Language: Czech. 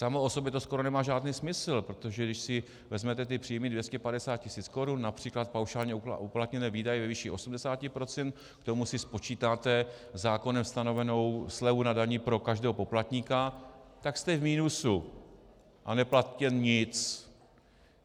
Samo o sobě to skoro nemá žádný smysl, protože když si vezmete ty příjmy 250 tisíc korun, například paušálně uplatněné výdaje ve výši 80 %, k tomu si spočítáte zákonem stanovenou slevu na dani pro každého poplatníka, tak jste v minusu a neplatíte nic.